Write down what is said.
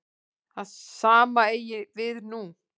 Það sama eigi við nú.